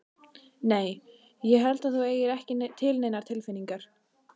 Nei. ég held að þú eigir ekki til neinar tilfinningar.